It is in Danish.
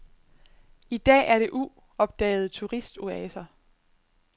I dag er det uopdagede turistoaser.